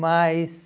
Mas...